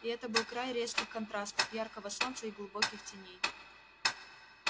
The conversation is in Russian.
и это был край резких контрастов яркого солнца и глубоких теней